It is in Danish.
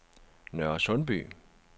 Nørresundby